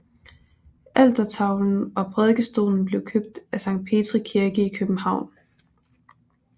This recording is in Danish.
Altertavlen og prædikestolen blev købt fra Sankt Petri Kirke i København